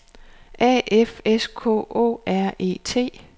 A F S K Å R E T